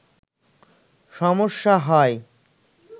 সমস্যা হয়